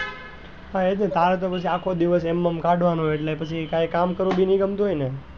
હા તારે તો પછી અખો દિવસ એમનામ કાઢવાનો એટલે પછી કઈ કામ કરવું બી નઈ ગમતું હોય ને,